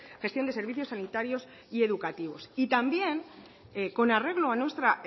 gestión de servicios sanitarios y educativos y también con arreglo a nuestra